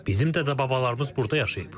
Bizim dədə-babalarımız burda yaşayıb.